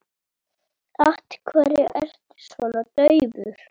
Af hverju ertu svona daufur?